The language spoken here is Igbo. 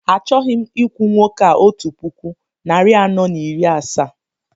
Achọghị m ikwu nwoke a otu puku, narị anọ na iri asaa